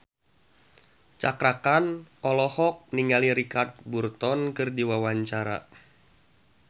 Cakra Khan olohok ningali Richard Burton keur diwawancara